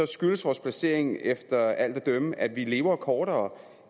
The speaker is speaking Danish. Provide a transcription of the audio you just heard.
skyldes vores placering efter alt at dømme at vi lever kortere